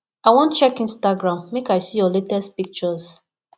i wan check instagram make i see your latest pictures